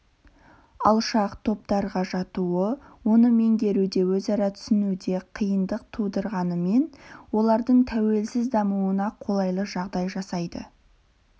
алшақ топтарға жатуы оны меңгеруде өзара түсінуде қиындық тудырғанымен олардың тәуелсіз дамуына қолайлы жағдай жасайды